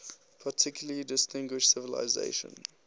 particularly distinguished civilization